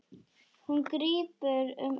Hún grípur um hönd mína.